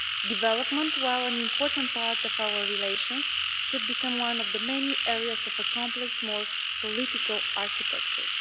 Development, while an important part of our relations, should become one of the many areas of the complex, more political architecture.